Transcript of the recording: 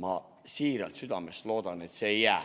Ma siiralt ja südamest loodan, et see ei jää